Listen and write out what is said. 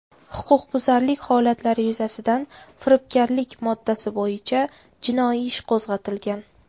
Huquqbuzarlik holatlari yuzasidan firibgarlik moddasi bo‘yicha jinoiy ish qo‘zg‘atilgan.